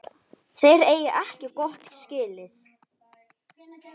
Þeir eigi ekkert gott skilið.